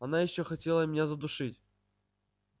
она ещё хотела меня задушить